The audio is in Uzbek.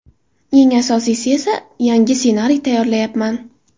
Eng asosiysi esa yangi ssenariy tayyorlayapman.